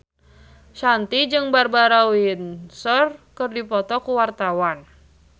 Shanti jeung Barbara Windsor keur dipoto ku wartawan